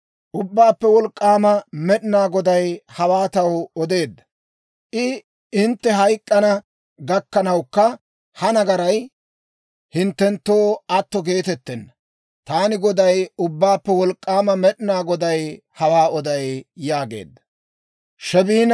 Ubbaappe Wolk'k'aama Med'inaa Goday hawaa taw odeedda; I, «Hintte hayk'k'ana gakkanawukka ha nagaray hinttenttoo atto geetettenna. Taani Goday, Ubbaappe Wolk'k'aama Med'inaa Goday hawaa oday» yaageedda.